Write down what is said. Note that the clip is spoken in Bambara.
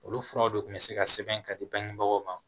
Olu furaw de tun bɛ se ka sɛbɛn ka di bangebagaw ma